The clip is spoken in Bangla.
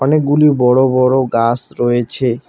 অনেকগুলি বড়ো বড়ো গাছ রয়েছে।